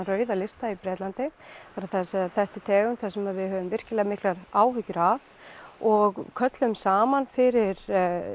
rauðan lista í Bretlandi það er að segja þetta er tegund sem við höfum virkilega miklar áhyggjur af og köllum saman fyrir